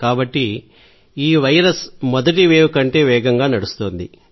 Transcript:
కాబట్టి ఈ వైరస్ మొదటి వేవ్ కంటే వేగంగా నడుస్తోంది